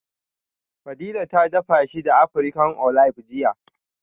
Fadila ta dafa shi da African Olive jiya